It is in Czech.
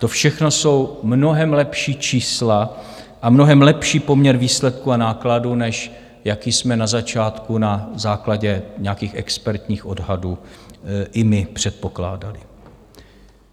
To všechno jsou mnohem lepší čísla a mnohem lepší poměr výsledků a nákladů, než jaký jsme na začátku na základě nějakých expertních odhadů i my předpokládali.